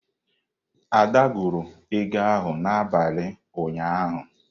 Ada gụrụ ego ahụ n'abalị ụnyaahụ.